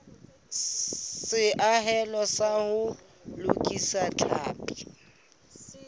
seahelo sa ho lokisa tlhapi